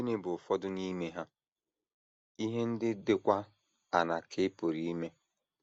Gịnị bụ ụfọdụ n’ime ha, ihe ndị dịkwa aṅaa ka ị pụrụ ime?